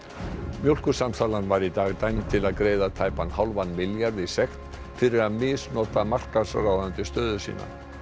mjólkursamsalan var í dag dæmd til að greiða tæpan hálfan milljarð í sekt fyrir að misnota markaðsráðandi stöðu sína